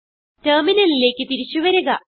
ടെർമിനലിലേക്ക് തിരിച്ചു വരിക